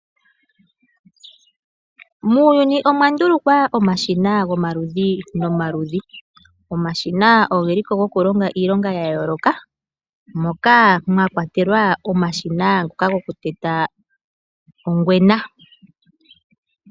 Muuyuni omwa ndulukwa omashina gomaludhi nomaludhi. Omashina ogeliko goku longa iilonga ya yooloka moka mwa kwatelwa omashina ngoka goku teta ongwena.